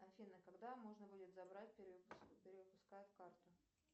афина когда можно будет забрать перевыпускают карту